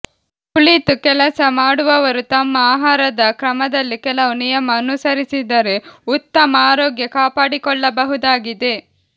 ಕುಳಿತು ಕೆಲಸ ಮಾಡುವವರು ತಮ್ಮ ಆಹಾರದ ಕ್ರಮದಲ್ಲಿ ಕೆಲವು ನಿಯಮ ಅನುಸರಿಸಿದರೆ ಉತ್ತಮ ಆರೋಗ್ಯ ಕಾಪಾಡಿಕೊಳ್ಳಬಹುದಾಗಿದೆ